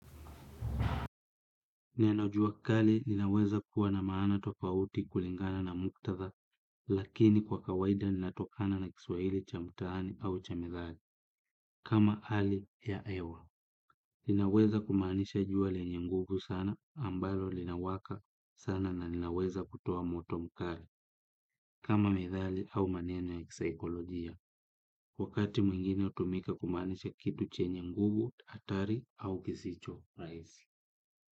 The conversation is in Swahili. Neno jua kali linaweza kuwa na maana tofauti kulingana na muktatha, lakini kwa kawaida linatokana na kiswaili cha mtaani au cha methali. Kama hali ya hewa. Linaweza kumaanisha jua lenye nye nguvu sana, ambalo linawaka sana na linaweza kutoa moto mkali, kama methali au maneno ya kisaikolojia, wakati mwingine hutumika kumaanisha kitu chenye nguvu, hatari au kisicho rahisi.